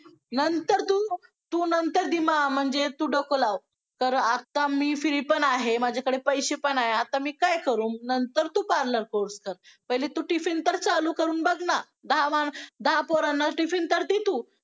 कौतुकच वाटतं माणूस प्राणी मग तो लहान मोठा प्रौढ